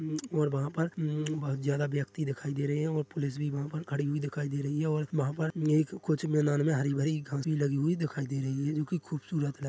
उम् और वहाँ पर उममम बहुत ज्यादा व्यक्ति दिखाई दे रहे है और पुलिस भी वहाँ पर खड़ी दिखाई दे रही है और वहाँ पर क एक कुछ मैदान में हरी-भरी घास वी लगी हुई दिखाई दे रही है जो कि खूबसूरत है।